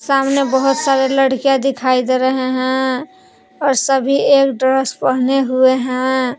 सामने बहुत सारे लड़कियां दिखाई दे रहे हैं और सभी एक ड्रेस पहने हुए हैं।